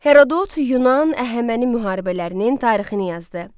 Herodot Yunan-Əhəməni müharibələrinin tarixini yazdı.